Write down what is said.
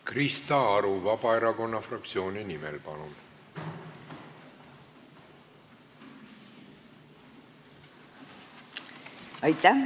Krista Aru Vabaerakonna fraktsiooni nimel, palun!